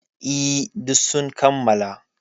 E, duk sun kammala.